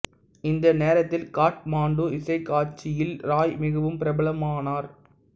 இந்த நேரத்தில் காத்மாண்டு இசைக் காட்சியில் ராய் மிகவும் பிரபலமானார்